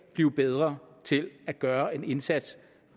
blive bedre til at gøre en indsats